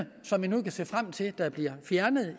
som vi nu kan se frem til bliver fjernet